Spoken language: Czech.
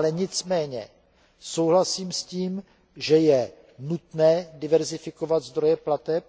Nicméně souhlasím však s tím, že je nutné diverzifikovat zdroje plateb,